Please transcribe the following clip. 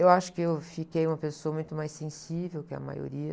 Eu acho que eu fiquei uma pessoa muito mais sensível que a maioria,